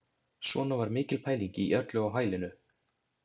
Svona var mikil pæling í öllu á hælinu.